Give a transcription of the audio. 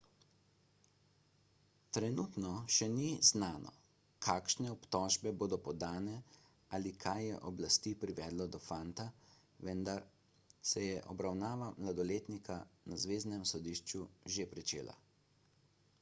trenutno še ni znano kakšne obtožbe bodo podane ali kaj je oblasti privedlo do fanta vendar se je obravnava mladoletnika na zveznem sodišču že pričela